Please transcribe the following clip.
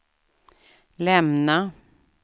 lämna